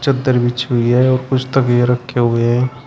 इधर भी छू लिया है और कुछ तकिया रखे हुए हैं।